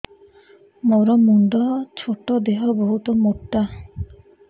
ମୋର ମୁଣ୍ଡ ଛୋଟ ଦେହ ବହୁତ ମୋଟା